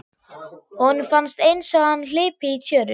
Honum fannst einsog hann hlypi í tjöru.